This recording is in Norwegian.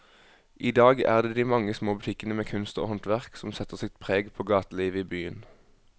I dag er det de mange små butikkene med kunst og håndverk som setter sitt preg på gatelivet i byen.